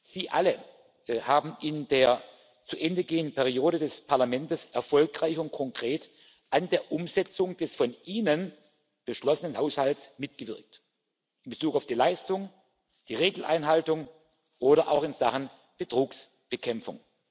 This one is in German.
Sie alle haben in der zu Ende gehenden Periode des Parlaments erfolgreich und konkret an der Umsetzung des von Ihnen beschlossenen Haushalts mitgewirkt in Bezug auf die Leistung, die Regeleinhaltung oder auch in Sachen Betrugsbekämpfung.